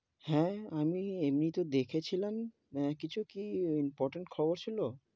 হেঁ, আমি এমনি তো দেখেছিলাম, হেঁ, কিছু কি important খবর ছিল?